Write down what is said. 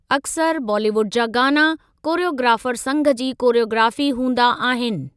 अक्सर बालीवुड जा गाना, कोरियोग्राफर संघ जी कोरियोग्राफी हूदा आहिनि।